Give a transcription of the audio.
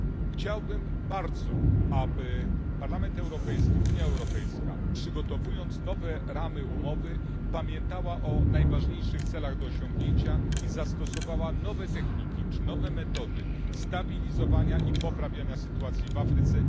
Chciałbym bardzo, aby Parlament Europejski, Unia Europejska, przygotowując nowe ramy umowy, pamiętała o najważniejszych celach do osiągnięcia i zastosowała nowe techniki czy nowe metody stabilizowania i poprawiania sytuacji w Afryce.